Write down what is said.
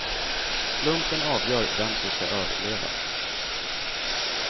Slumpen avgör vem som ska överleva.